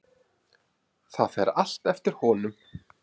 Það fer allt eftir honum.